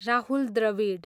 Rahul Dravid